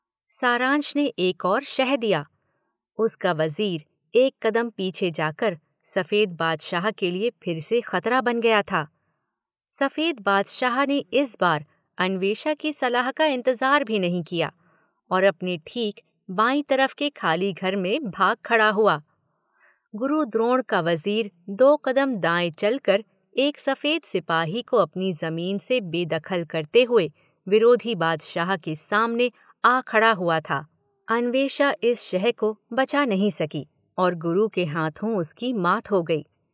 सारांश ने एक और शह दिया, उसका वजीर एक कदम पीछे जा कर सफेद बादशाह के लिए फिर से खतरा बन गया था, सफेद बादशाह ने इस बार अन्वेषा की सलाह का इंतजार भी नहीं किया और अपने ठीक बाईं तरफ के खाली घर में भाग खड़ा हुआ गुरु द्रोण का वजीर दो कदम दाएं चल कर एक सफेद सिपाही को अपनी जमीन से बेदखल करते हुए विरोधी बादशाह के सामने आ खड़ा हुआ था। अन्वेषा इस शह को बचा नहीं सकी और गुरु के हाथों उसकी मात हो गई।